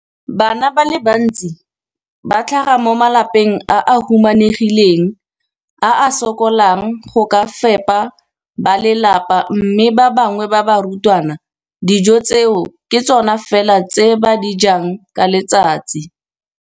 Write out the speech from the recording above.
Bana ba le bantsi ba tlhaga mo malapeng a a humanegileng a a sokolang go ka fepa ba lelapa mme ba bangwe ba barutwana, dijo tseo ke tsona fela tse ba di jang ka letsatsi.